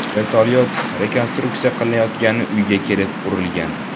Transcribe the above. Vertolyot rekonstruksiya qilinayotgan uyga kelib urilgan.